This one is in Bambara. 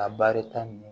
A baarita nunnu